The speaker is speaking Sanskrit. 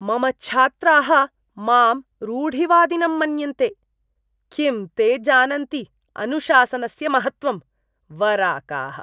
मम छात्राः माम् रूढिवादिनं मन्यन्ते! किं ते जानन्ति अनुशासनस्य महत्त्वम्? वराकाः!